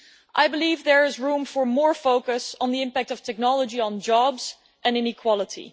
I believe there is room for more focus on the impact of technology on jobs and inequality.